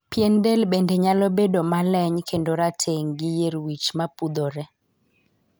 Pien del bende nyalo bedo ma leny kedno rateng' gi yier wich mapudhore.